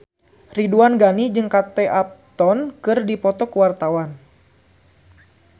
Ridwan Ghani jeung Kate Upton keur dipoto ku wartawan